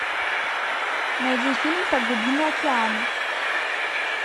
найди фильм про глубины океана